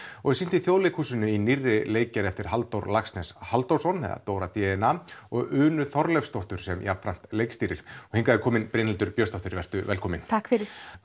og er sýnt í Þjóðleikhúsinu í nýrri leikgerð eftir Halldór Laxness Halldórsson eða Dóra d n a og Unu Þorleifsdóttir sem jafnframt leikstýrir hingað er komin Brynhildur Björnsdóttir vertu velkomin takk fyrir